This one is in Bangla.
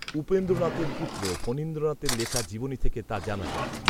উপেন্দ্রনাথের পুত্র ফণীন্দ্রনাথের লেখা জীবনী থেকে তা জানা যায়